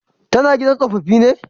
Ta na gidan tsofaffi ne?